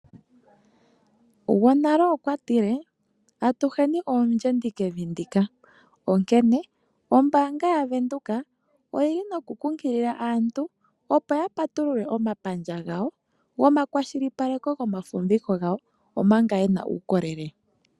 Gwonale okwa tile: atuheni oondjendi kevi ndika, onkene ombaanga yaVenduka oyili nokukumagidha aantu opo yapatulule omapandja gawo gomakwashilipaleko gomafumviko gawo omanga yena uukolele .